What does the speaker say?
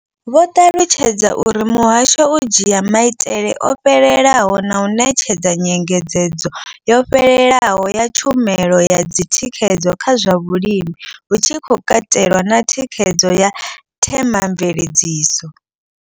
Vho ṱalutshedza uri muhasho u dzhia maitele o fhelelaho na u ṋetshedza nyengedzedzo yo fhelelaho ya tshumelo dza thikhedzo kha zwa vhulimi, hu tshi katelwa na thikhedzo ya themamveledziso.